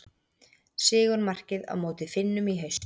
Sigurmarkið á móti Finnum í haust.